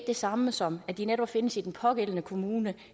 det samme som at de netop findes i den pågældende kommune